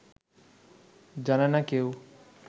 জানে না কেউ